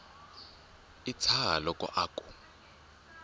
wi tshaha loko a ku